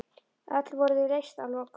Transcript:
Öll voru þau leyst að lokum.